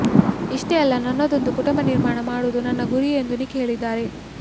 ಇಷ್ಟೇ ಅಲ್ಲ ನನ್ನದೊಂದು ಕುಟುಂಬ ನಿರ್ಮಾಣ ಮಾಡುವುದು ನನ್ನ ಗುರಿ ಎಂದು ನಿಕ್ ಹೇಳಿದ್ದಾರೆ